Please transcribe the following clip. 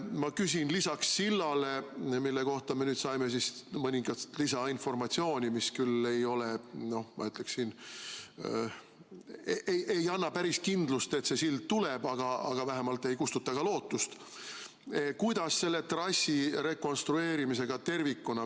Ma küsin seda, et – silla kohta me saime mõningast lisainformatsiooni, mis küll ei anna päris kindlust, et see sild tuleb, aga vähemalt ei kustuta ka lootust – kuidas selle trassi rekonstrueerimisega tervikuna on.